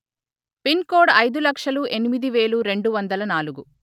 pin code అయిదు లక్షలు ఎనిమిది వేల రెండు వందల నాలుగు